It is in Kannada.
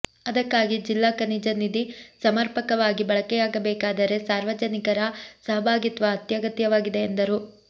ಅದಕ್ಕಾಗಿ ಜಿಲ್ಲಾ ಖನಿಜ ನಿಧಿ ಸಮರ್ಪಕವಾಗಿ ಬಳಕೆಯಾಗಬೇಕಾದರೆ ಸಾರ್ವಜನಿಕರ ಸಹಭಾಗಿತ್ವ ಅತ್ಯಗತ್ಯವಾಗಿದೆ ಎಂದರು